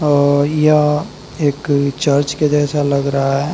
और यह एक चर्च के जैसा लग रहा है।